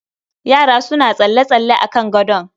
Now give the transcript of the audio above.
Yara suna tsalle-tsalle a kan gadon